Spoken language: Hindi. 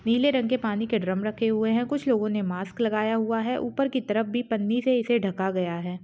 नीले रंग के पानी के ड्रम रखे हुए है कुछ लोगों ने मास्क लगाया हुआ है ऊपर की तरफ भी पन्नी से इसे ढका गया है।